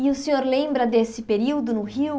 E o senhor lembra desse período no Rio?